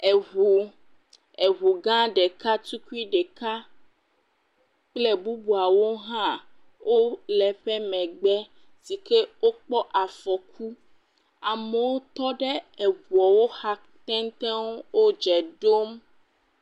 Eŋu, eŋu gã ɖeka tukui ɖeka kple bubuawo hã, wole eƒe megbe si ke wokpɔ afɔku, amewo tɔ ɖe eŋuwo xa teŋteŋ, wodze ɖom.